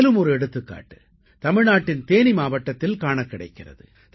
மேலும் ஒரு எடுத்துக்காட்டு தமிழ்நாட்டின் தேனி மாவட்டத்தில் காணக் கிடைக்கிறது